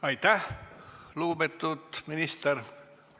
Aitäh, lugupeetud minister!